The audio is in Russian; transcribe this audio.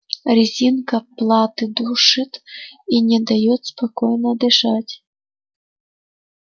резинка платы душит и не даёт спокойно дышать